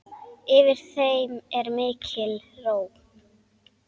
Yfir þeim er mikil ró.